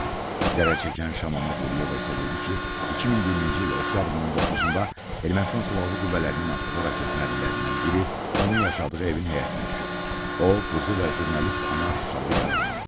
Zərər çəkən Şamama Quliyeva isə dedi ki, 2020-ci il oktyabrın 19-da Ermənistan Silahlı Qüvvələrinin atdığı raket mərmilərindən biri onun yaşadığı evin həyətinə düşüb, o, qızı və jurnalist Anar Şuşalı yaralanıb.